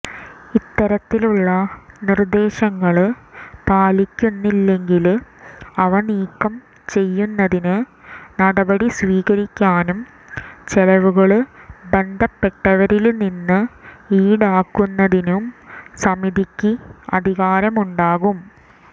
ഇത്തരത്തിലുള്ള നിര്ദേശങ്ങള് പാലിക്കുന്നില്ലെങ്കില് അവ നീക്കം ചെയ്യുന്നതിന് നടപടി സ്വീകരിക്കാനും ചെലവുകള് ബന്ധപ്പെട്ടവരില് നിന്ന് ഈടാക്കുന്നതിനും സമിതിക്ക് അധികാരമുണ്ടാകും